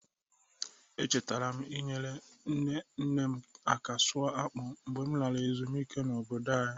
Echetara m inyere nne nne m aka sụọ akpụ mgbe m lara ezumike n'obodo anyị.